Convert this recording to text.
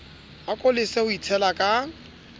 ako lese ho itshela ka